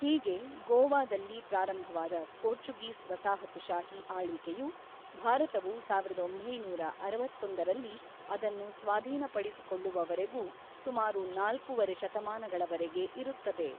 ಹೀಗೆ ಗೋವಾದಲ್ಲಿ ಪ್ರಾರಂಭವಾದ ಪೋರ್ಚುಗೀಸ್ ವಸಾಹತುಶಾಹಿ ಆಳ್ವಿಕೆಯು, ಭಾರತವು ಸಾವಿರದ ಒಂಬೈನೂರ ಅರವತ್ತೊಂದರಲ್ಲಿ ಅದನ್ನು ಸ್ವಾಧೀನಪಡಿಸಿಕೊಳ್ಳುವವರೆಗೂ ಸುಮಾರು ನಾಲ್ಕೂವರೆ ಶತಮಾನಗಳವರೆಗೆ ಇರುತ್ತದೆ.